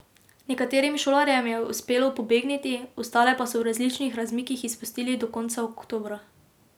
Nekaterim šolarjem je uspelo pobegniti, ostale pa so v različnih razmikih izpustili do konca oktobra.